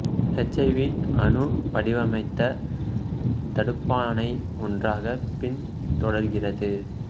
H I V அணு வடிவமைத்த தடுப்பானை ஒன்றாக பின் தொடர்கிறது